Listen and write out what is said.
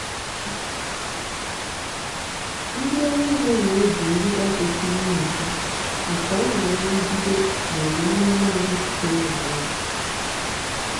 ndị ọrụ ugbo na-eji ngịga kwesịrị nyochaa maka ọnyá nrụgide ma ọ bụ mmerụ ahụ sitere na waya.